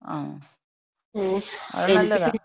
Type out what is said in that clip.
ങ്ങാ. അത് നല്ലതാ.